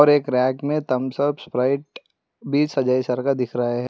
एक रैक में Thums Up Sprite बीस का दिख रहा है।